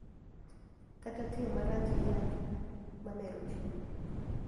Kata tiyo marach gi yath ma mero ji.